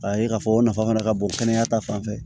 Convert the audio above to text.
K'a ye k'a fɔ o nafa fana ka bon kɛnɛya ta fan fɛ